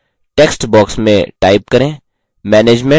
text box में type करें;